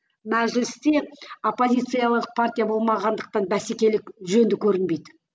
мәжілісте оппозициялық партия болмағандықтан бәсекелік жөнді көрінбейді